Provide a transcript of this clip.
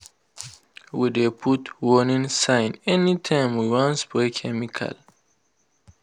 we dey put warning sign anytime we wan spray chemical.